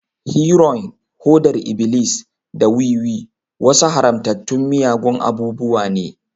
Heroin, hodar iblis, da wiwi wasu haramtattun miyagun abubuwa ne.